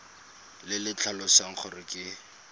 le le tlhalosang gore ke